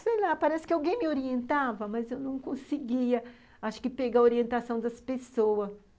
Sei lá, parece que alguém me orientava, mas eu não conseguia, acho que, pegar a orientação das pessoas.